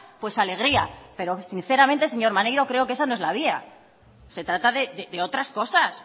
pues alegría pero sinceramente señor maneiro creo que esa no es la vía se trata de otras cosas